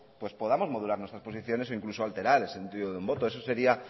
pues podamos modular nuestras posiciones o incluso alterar el sentido de un voto eso sería